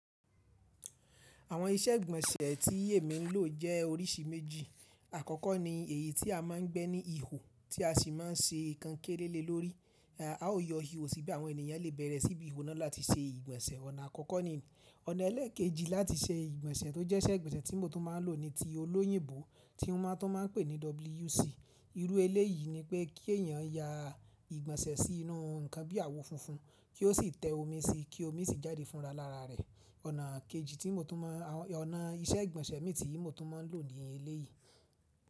Àwọn iṣẹ́ ìgbọ̀nsẹ̀ ti èmi ń lò jẹ́ oríṣi méjì. Àkọ́kọ́ ni èyí tí a má ń gbẹ́ ní ihò tí a sì má ń ṣe nǹkan kére lé lórí. A o yọ ihò síbí àwọn ènìyàn lè bẹ̀rẹ̀ sí bí iho náà láti se ìgbọ̀nsẹ̀. Ọ̀nà àkọ́kọ́ ní. Ọ̀nà ẹlẹ́ẹ̀kejì láti se ìgbọ̀nsẹ̀ tó jẹ́ iṣẹ́ ìgbọ̀nsẹ̀ tí mo tún má ń lò ni ti olóyìnbó tí wọ́n tún má ń pè ní WC. Irú ẹlẹ́ yìí ni pé kí èèyàn ya ìgbọ̀nsẹ̀ sí inú nǹkan bí àwo funfun kí ó sì tẹ omi síi kí omi sì jáde fúnra lára rẹ̀. Ọ̀nà kejì tí mo tún má, ọ̀nà iṣẹ́ ìgbọ̀nsẹ̀ mi tí mo tún má ń lò ní ilé yìí.